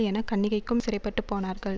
என் கன்னிகைகும் சிறைப்பட்டு போனார்கள்